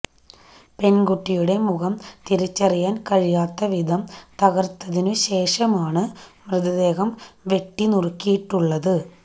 പെണ്കുട്ടിയുടെ മുഖം തിരിച്ചറിയാന് കഴിയാത്ത വിധം തകര്ത്തതിനു ശേഷമാണ് മൃതദേഹം വെട്ടിനുറുക്കിയിട്ടുള്ളത്